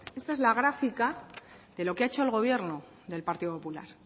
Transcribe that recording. esta es la gráfica de lo que ha hecho el gobierno del partido popular